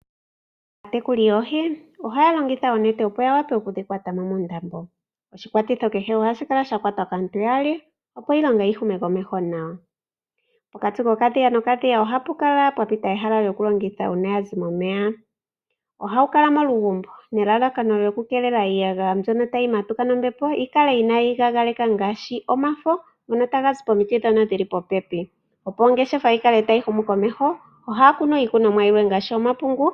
Aatekuli yoohi ohaya longitha oonete opo ya vule oku dhi kwata mo muundambo. Oshikwatitho kehe ohashi kala sha kwatwa kaantu yaali, opo iilonga yi hume komeho nawa. Pokati kokadhiya nokadhiya ohapu kala pwa pita ehala lyokulongitha uuna ya zi momeya. Ohawu kala molugumbo nelalakano lyokukeelela iiyagaya mbyono tayi matuka nombepo yi kale inayi kakeka ngaashi omafo ngono taga zi pomiti ndhono dhi li popepi. Opo ongeshefa yi kale tayi humu komeho ohaya kunu iikunomwa yilwe ngaashi omapungu.